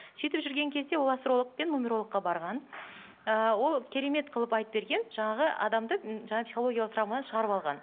сөйтіп жүрген кезде ол астролог пен нумерологқа барған ыыы ол керемет қылып айтып берген жаңағы адамды м жаңа психологиялық травмадан шығарып алған